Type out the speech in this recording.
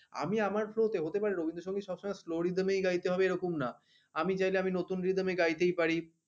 আমি আমার flow তে হতে পারে রবীন্দ্র সংগীত সবসময় slow rhythm গাইতে হবে এরকম না আমি চাইলে আমি নতুন rhythm এ গাইতেই পারি